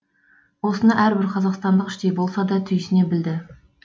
осыны әрбір қазақстандық іштей болса да түйсіне білді